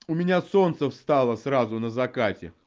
у меня солнце встало сразу на закате